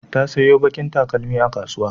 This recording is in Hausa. Ta sayo baƙin takalmi a kasuwa.